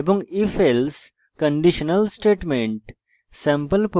if এবং ifelse conditional statements